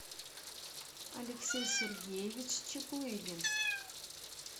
алексей сергеевич чаплыгин